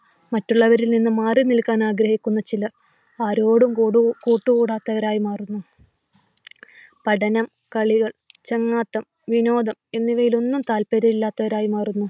മറ്റുള്ളവരിൽ നിന്നും മാറി നിൽക്കുവാൻ ആഗ്രഹിക്കുന്ന ചിലർ ആരോടും കൂട്ടുകൂടാത്തവരായി മാറുന്നു. പഠനം വിനോദം എന്നിവയിൽ ഒന്നും താല്പര്യം ഇല്ലാത്തവരായി മാറുന്നു.